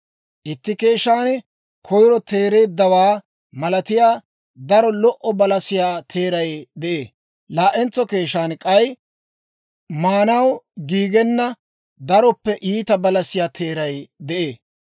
Itti keeshshan koyiro teereeddawaa malatiyaa daro lo"o balasiyaa teeray de'ee. Laa"entso keeshshan k'ay maanaw giigenna daroppe iita balasiyaa teeray de'ee.